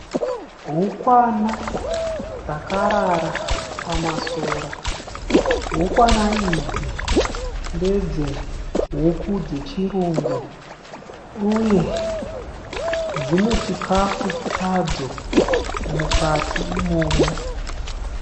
Hukwana dzakarara pamasora. Hukwana idzi ndedze huku dzechirungu uye dzine chikafu chadzo mukati imomo.